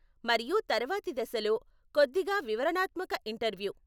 మరియు తరువాతి దశలో కొద్దిగా వివరణాత్మక ఇంటర్వ్యూ.